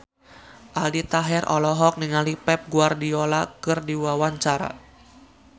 Aldi Taher olohok ningali Pep Guardiola keur diwawancara